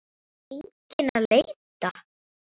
Kom enginn að leita?